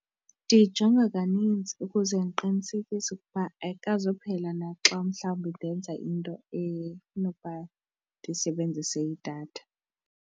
Ndiyijonga kaninzi ukuze ndiqinisekise ukuba ayikazuphela na xa umhlawumbi ndenza into efuna ukuba ndisebenzise idatha.